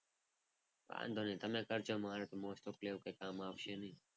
વાંધો નહીં તમે કરજો. મારે તો most of લે એવું કંઈ કામ આવશે નહીં.